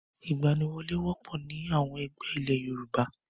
Ìgbaniwọlé wọ́pọ̀ ní àwọn ẹgbẹ́ ilé Yorùbá.